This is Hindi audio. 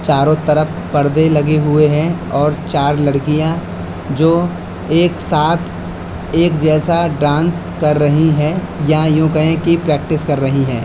चारों तरफ पर्दे लगे हुए हैं और चार लड़कियां जो एक साथ एक जैसा डांस कर रही हैं या यूं कहें कि प्रैक्टिस कर रही हैं।